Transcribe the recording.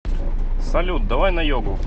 салют давай на йогу